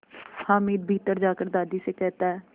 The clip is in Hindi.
हामिद भीतर जाकर दादी से कहता